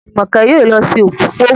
Jumoke yóò ló se òfófó.